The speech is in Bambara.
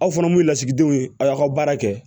Aw fana mun ye lasigidenw ye a y'aw ka baara kɛ